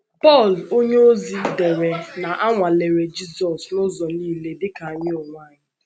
Pọl onyeozi dere na ‘ a nwalere Jizọs n’ụzọ nile dị ka anyị onwe anyị. ’